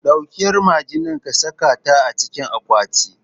Ɗauki yar magennan kasaka ta acikin akwati